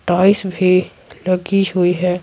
Toys भी लगी हुई है।